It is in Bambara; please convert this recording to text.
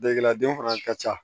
Degelila den fana ka ca